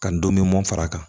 Ka n dɔnni mun fara kan